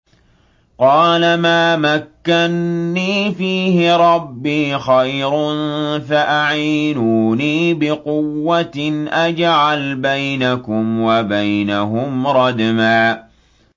قَالَ مَا مَكَّنِّي فِيهِ رَبِّي خَيْرٌ فَأَعِينُونِي بِقُوَّةٍ أَجْعَلْ بَيْنَكُمْ وَبَيْنَهُمْ رَدْمًا